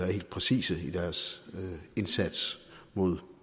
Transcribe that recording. er helt præcise i deres indsats mod